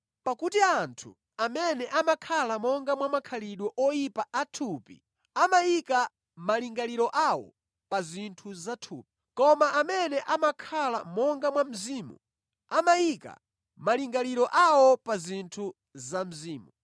Pakuti anthu amene amakhala monga mwa makhalidwe oyipa a thupi amayika malingaliro awo pa zinthu zathupi. Koma amene amakhala monga mwa Mzimu amayika malingaliro awo pa zinthu za Mzimu.